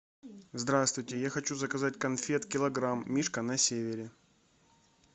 здравствуйте я хочу заказать конфет килограмм мишка на севере